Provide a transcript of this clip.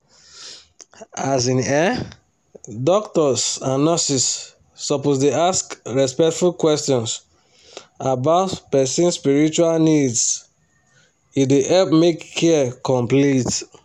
as in[um]doctors and nurses suppose dey ask respectful questions about person spiritual needse dey help make care complete.